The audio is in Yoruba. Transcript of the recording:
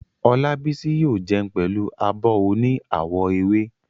Olábísí yóò jẹun pẹ̀lú abọ́ oní àwọ̀ ewé